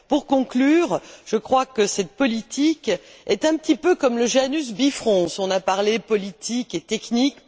Pour conclure, je crois que cette politique est un petit peu comme le Janus bifrons. Nous avons parlé politique et technique.